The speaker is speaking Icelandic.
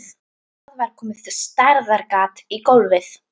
Það var komið stærðar gat í gólfið.